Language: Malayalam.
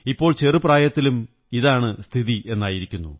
ഇപ്പോൾ ചെറുപ്രായത്തിലും ഇതാണ് സ്ഥിതിയെന്നായിരിക്കുന്നു